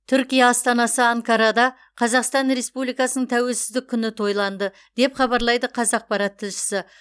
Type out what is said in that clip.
түркия астанасы анкарада қазақстан республикасының тәуелсіздік күні тойланды деп хабарлайды қазақпарат тілшісі